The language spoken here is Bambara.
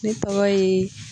Ne tɔgɔ ye